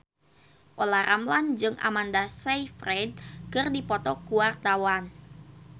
Olla Ramlan jeung Amanda Sayfried keur dipoto ku wartawan